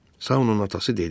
Saunun atası dedi.